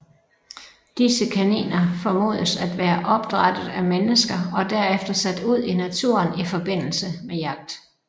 Disse kaniner formodes at være opdrættet af mennesker og derefter sat ud i naturen i forbindelse med jagt